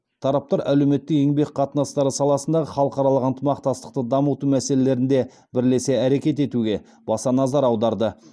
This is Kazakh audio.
тараптар әлеуметтік еңбек қатынастары саласындағы халықаралық ынтымақтастықты дамыту мәселелерінде бірлесе әрекет етуге баса назар аударды